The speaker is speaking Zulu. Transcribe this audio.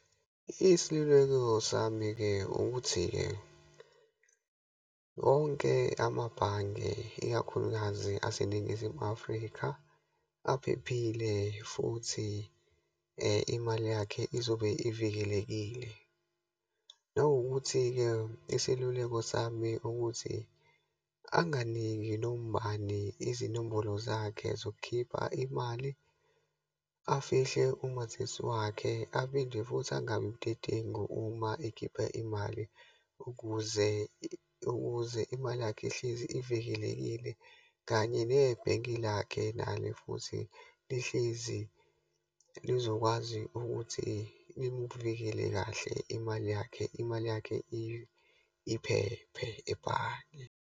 Isiluleko sami-ke ukuthi-ke, wonke amabhange, ikakhulukazi aseNingizimu Afrika aphephile, futhi imali yakhe izobe ivikelekile. Nanokuthi-ke iseluleko sami ukuthi, anginiki noma ubani izinombolo zakhe zokukhipha imali, afihle umazisi wakhe, aphinde futhi angabidedengu uma ekhipha imali ukuze ukuze imali yakhe ihlezi ivikelekile, kanye nebhenki lakhe nale futhi lihlezi lizokwazi ukuthi limuvikele kahle imali yakhe. Imali yakhe iphephe ebhange.